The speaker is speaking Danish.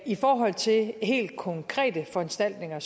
i forhold til helt konkrete foranstaltninger